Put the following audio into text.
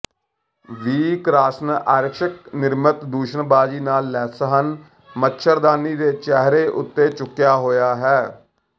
ਵੀ ਕ੍ਰਾਸ੍ਨਆਯਰ੍ਸ੍ਕ ਨਿਰਮਿਤ ਦੂਸ਼ਣਬਾਜ਼ੀ ਨਾਲ ਲੈਸ ਹਨ ਮੱਛਰਦਾਨੀ ਦੇ ਚਿਹਰੇ ਉੱਤੇ ਚੁੱਕਿਆ ਹੋਇਆ ਹੈ